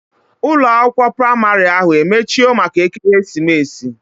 Ụlọ akwụkwọ praịmarị ahu emechio maka ekeremesis?